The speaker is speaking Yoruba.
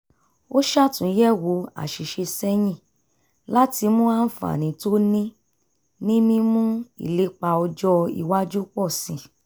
ó ṣàtúnyẹ̀wò àṣìṣe sẹ́yìn láti mú àǹfààní tó ní ní mímú ìlépa ọjọ́ iwájú pọ̀ sí i